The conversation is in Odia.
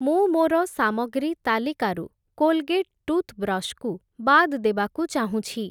ମୁଁ ମୋର ସାମଗ୍ରୀ ତାଲିକାରୁ କୋଲ୍‌ଗେଟ୍ ଟୁଥ୍‌‌ବ୍ରଶ୍‌ କୁ ବାଦ୍ ଦେବାକୁ ଚାହୁଁଛି ।